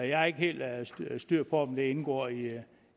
jeg har ikke helt styr på om det indgår i